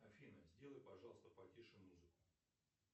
афина сделай пожалуйста потише музыку